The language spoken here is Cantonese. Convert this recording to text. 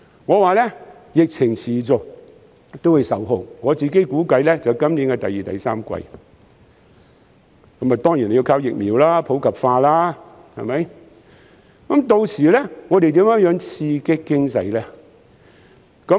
我說疫情持續，估計會在今年第二三季才受控，而疫情受控當然要靠疫苗普及化，之後又如何刺激經濟呢？